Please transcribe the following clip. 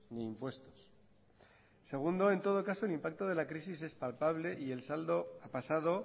ni impuestos segundo en todo caso el impacto de la crisis es palpable y el saldo ha pasado